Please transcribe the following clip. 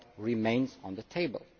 remains on the table.